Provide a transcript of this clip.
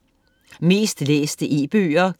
Mest læste e-bøger